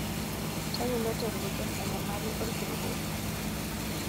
Tayiolo tenguton enyamali olkirutoto.